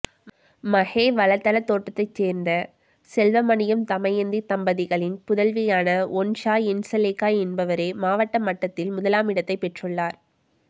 மறே வலதள தோட்டத்தை சேர்ந்த செல்வமணியம் தமயந்தி தம்பதிகளின் புதல்வியான ஒன்ஷ என்ஷலேக்கா என்பவரே மாவட்ட மட்டத்தில் முதலாமிடத்தை பெற்றுள்ளளார்